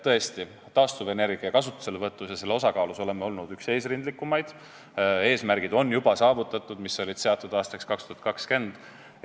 Tõesti, taastuvenergia kasutuselevõtu ja selle osakaalu poolest oleme olnud üks eesrindlikumaid, eesmärgid, mis olid seatud aastaks 2020, on juba saavutatud.